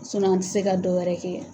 an ti se ka dɔ wɛrɛ kɛ